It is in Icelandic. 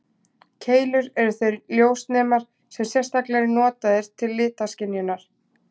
Keilur eru þeir ljósnemar sem sérstaklega eru notaðir til litaskynjunar.